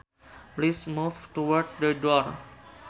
Please move towards the door